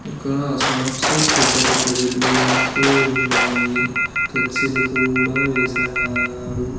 ఇక్కడ షాప్సు పెద్ద పెద్ద బిల్డింగ్సు ఉన్నాయి ఫ్లెక్సీలు కూడా వేసారు.